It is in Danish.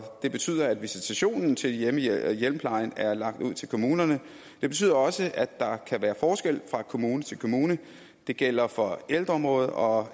det betyder at visitationen til hjemmeplejen er lagt ud til kommunerne det betyder også at der kan være forskelle fra kommune til kommune det gælder for ældreområdet og